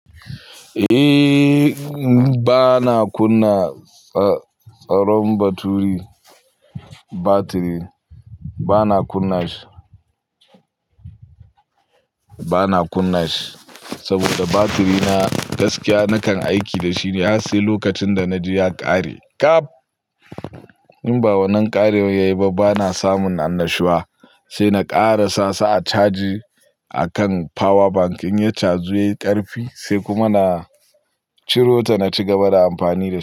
Eh, bana kunna tsaron batiri, bana kunna shi, bana kunna shi saboda batiri na gaskiya nakan aiki da shi ne. Sai lokacin da naji ya kare kaf. In ba wannan ƙariwan ya yi ba bana samun annashuwa, sai na ƙarasa sa a caji a kan power bank. In ya caju yayi ƙarfi sai kuma na ciro ta na cigaba da amfani da ita.